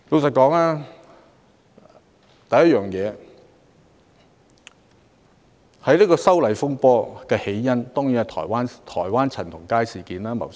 首先，修例風波的起因是在台灣發生的陳同佳事件。